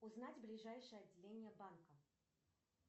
узнать ближайшее отделение банка